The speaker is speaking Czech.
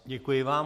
Děkuji vám.